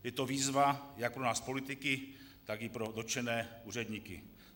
Je to výzva jak pro nás politiky, tak i pro dotčené úředníky.